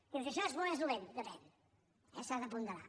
dius això és bo o és dolent depèn eh s’ha de ponderar